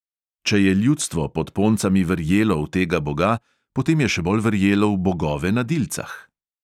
Če je ljudstvo pod poncami verjelo v tega boga, potem je še bolj verjelo v bogove na dilcah.